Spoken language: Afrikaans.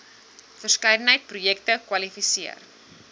verskeidenheid projekte kwalifiseer